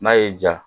N'a y'i ja